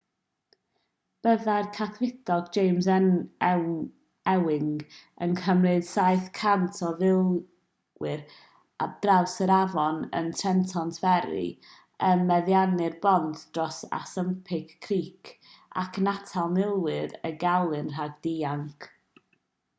byddai'r cadfridog james ewing yn cymryd 700 o filwyr ar draws yr afon yn trenton ferry yn meddiannu'r bont dros assunpink creek ac yn atal milwyr y gelyn rhag dianc